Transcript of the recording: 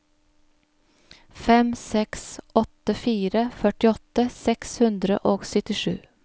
fem seks åtte fire førtiåtte seks hundre og syttisju